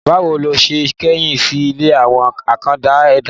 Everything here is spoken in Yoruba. Bá wo ló se kẹ́yìn sí ilé àwọn àkàndá ẹ̀dá?